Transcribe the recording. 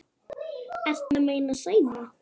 Ertu að meina Sæma?